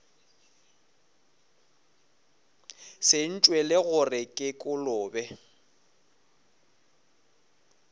se ntšwele gore ke kolobe